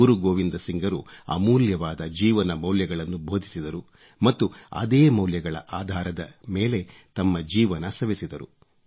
ಗುರು ಗೋವಿಂದ್ ಸಿಂಗ್ರು ಅಮೂಲ್ಯವಾದ ಜೀವನ ಮೌಲ್ಯಗಳನ್ನು ಬೋಧಿಸಿದರು ಮತ್ತು ಅದೇ ಮೌಲ್ಯಗಳ ಆಧಾರದ ಮೇಲೆ ತಮ್ಮ ಜೀವನ ಸವೆಸಿದರು